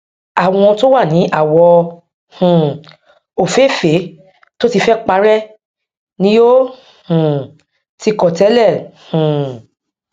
àwọn to wà ní awọ um ofeefe tó tí fẹ parẹ ni o um tí kọ tẹlẹ um